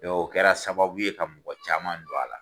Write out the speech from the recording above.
o kɛra sababu ye ka mɔgɔ caman don a la.